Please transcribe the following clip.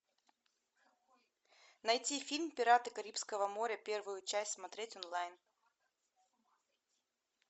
найти фильм пираты карибского моря первую часть смотреть онлайн